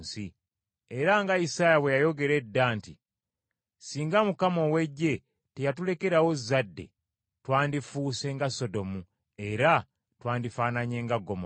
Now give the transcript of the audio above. Era nga Isaaya bwe yayogera edda nti, “Singa Mukama ow’Eggye teyatulekerawo zzadde, twandifuuse nga Sodomu, era twandifaananye nga Ggomola.”